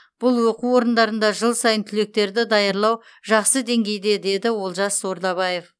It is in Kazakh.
бұл оқу орындарында жыл сайын түлектерді даярлау жақсы деңгейде деді олжас ордабаев